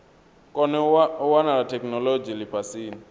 kone u wana theikinolodzhi lifhasini